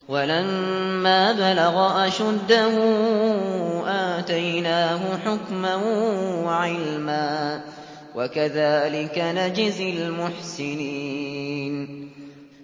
وَلَمَّا بَلَغَ أَشُدَّهُ آتَيْنَاهُ حُكْمًا وَعِلْمًا ۚ وَكَذَٰلِكَ نَجْزِي الْمُحْسِنِينَ